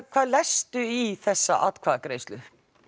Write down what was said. hvað lestu í þessa atkvæðagreiðslu